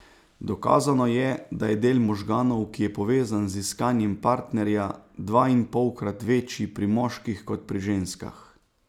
Dokazano je, da je del možganov, ki je povezan z iskanjem partnerja, dvainpolkrat večji pri moških kot pri ženskah.